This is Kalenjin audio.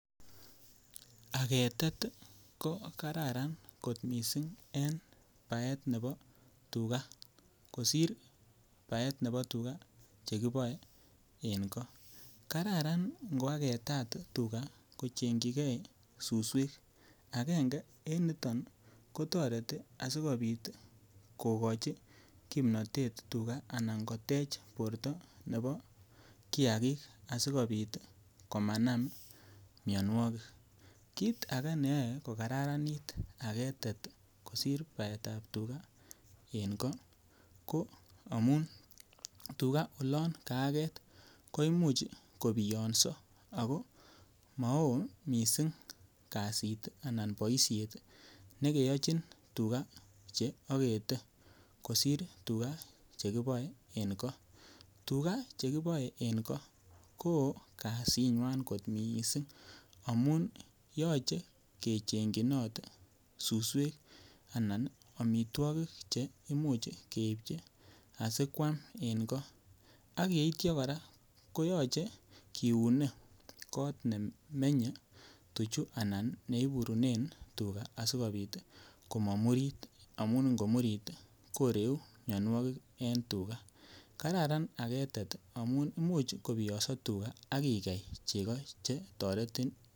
Agetet ko Kararan kot mising en baet nebo tuga kosir baet nebo tuga chekiboe en goo kararan ingo agetat tuga kochengchijigei suswek agenge en niton ko toreti asikobit kogochi kimnatet tuga anan kotech borto nebo kiagik asikobit komanam mianwogik kit age neyoe kokararanit agetet kosir baetab tuga en goo ko amun tuga oloon kaa get ko Imuch kobiyoso ako maoo mising kasit anan boisiet nekeyochin tuga Che agete kosir tuga Che kiboe en goo tuga chekiboe en goo ko woo kasinywan kot mising amun yoche kechengchinot suswek Anan amitwogik che keibchi asi koam en goo ak yeityo kora ko yoche kiune kot nemenye tuchu anan neiburunen asikobit komomurit amun ngomurit koreu mianwogik en tuga kararan agetet amun Imuch kobiyoso tuga ak igei chego Che toretin